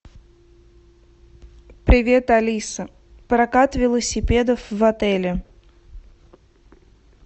привет алиса прокат велосипедов в отеле